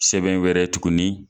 Sɛbɛn wɛrɛ tuguni.